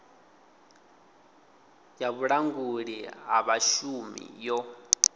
ya vhulanguli ha vhashumi yo